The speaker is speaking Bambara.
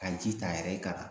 Ka ji ta a yɛrɛ ye ka na